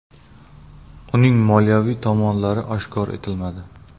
Uning moliyaviy tomonlari oshkor etilmadi.